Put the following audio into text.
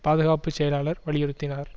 பாதுகாப்பு செயலாளர் வலியுறுத்தினார்